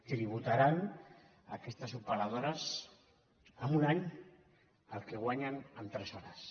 tributaran aquestes operadores en un any el que guanyen en tres hores